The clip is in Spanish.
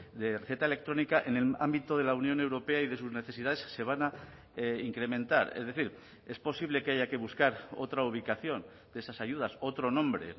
de receta electrónica en el ámbito de la unión europea y de sus necesidades se van a incrementar es decir es posible que haya que buscar otra ubicación de esas ayudas otro nombre